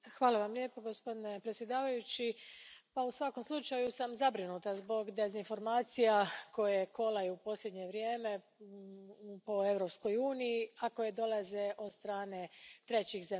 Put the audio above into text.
Gospodine predsjedavajući, u svakom sam slučaju zabrinuta zbog dezinformacija koje u posljednje vrijeme kolaju po Europskoj uniji, a koje dolaze od strane trećih zemalja.